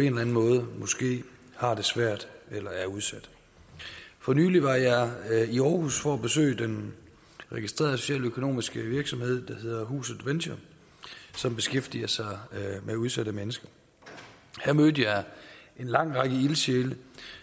enden måde måske har det svært eller er udsat for nylig var jeg i aarhus for at besøge den registrerede socialøkonomiske virksomhed der hedder huset venture som beskæftiger sig med udsatte mennesker her mødte jeg en lang række ildsjæle